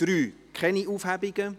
(Keine Aufhebungen / Aucune